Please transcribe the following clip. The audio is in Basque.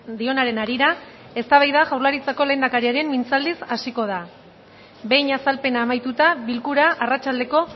dionaren harira eztabaida jaurlaritzako lehendakariaren mintzaldiz hasiko da behin azalpena amaituta bilkura arratsaldeko